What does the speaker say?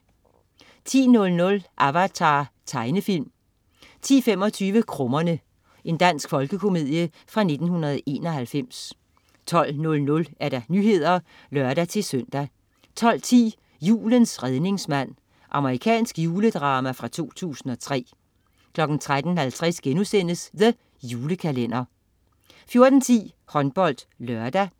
10.00 Avatar. Tegnefilm 10.25 Krummerne. Dansk folkekomedie fra 1991 12.00 Nyhederne (lør-søn) 12.10 Julens redningsmand. Amerikansk juledrama fra 2003 13.50 The Julekalender* 14.10 HåndboldLørdag